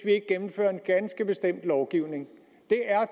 ikke gennemfører en ganske bestemt lovgivning det er